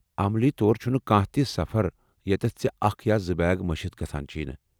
عملی طور چُھنہٕ کانٛہہ تہِ سفر یتیٚتھ ژےٚ اکھ یا زٕ بیگ مشِتھ گژھان چھب نہٕ ۔